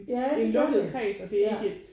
Ja det gør det ja